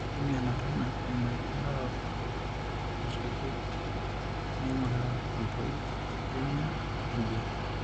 Keidimi aanoto ena eimu enking'uraroto nairagieki naing'uraa entoi, emion, oenjian.